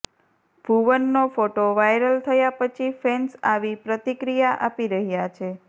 ભુવનનો photo viral થયા પછી fans આવી પ્રતિક્રિયા આપી રહ્યા છે